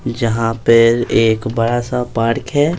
जहां पर एक बड़ा सा पार्क है।